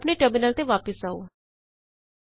ਆਪਣੇ ਟਰਮਿਨਲ ਤੇ ਵਾਪਸ ਆਉੇ